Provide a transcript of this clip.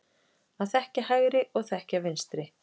Að þekkja hægri og þekkja vinstri.